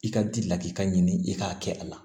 I ka di lakika ɲini i k'a kɛ a la